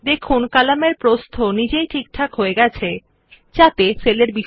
দেখুন কলামের প্রস্থ নিজেই ঠিকঠাক হয়ে যায় যাতে সেলের বিষয়বস্তুর কলামে ধরে যায়